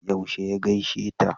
Yaushe ya gaishe ta?